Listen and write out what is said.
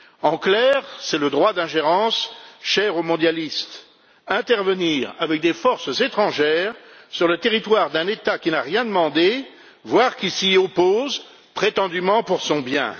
En clair, c'est le droit d'ingérence cher aux mondialistes, le fait d'intervenir avec des forces étrangères sur le territoire d'un État qui n'a rien demandé, voire qui s'y oppose, prétendument pour son bien.